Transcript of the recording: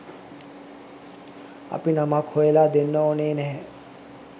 අපි නමක් හොයලා දෙන්න ඕනේ නැහැ